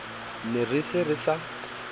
ne re se re sa